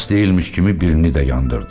Bəs deyilmiş kimi birini də yandırdı.